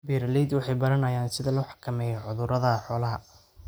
Beeraleydu waxay baranayaan sida loo xakameeyo cudurrada xoolaha.